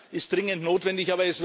All das ist dringend notwendig.